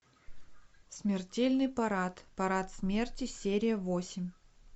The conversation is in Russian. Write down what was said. смертельный парад парад смерти серия восемь